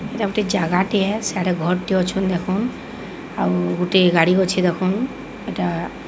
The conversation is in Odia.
ଏଟା ଗୋଟେ ଜାଗାଟିଏ। ସିଆଡ଼େ ଘର୍ ଟେ ଅଛନ୍ ଦେଖନ୍। ଆଉ ଗୋଟିଏ ଗାଡ଼ି ଅଛି ଦେଖନ୍। ଏଟା --